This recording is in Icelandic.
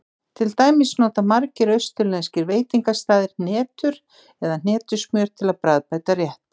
Til dæmis nota margir austurlenskir veitingastaðir hnetur eða hnetusmjör til að bragðbæta rétti.